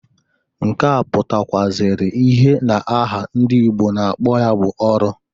Nke a pụtakwụazịrị ihe na-aha ndị Igbo na-akpo ya bụ ọrụ.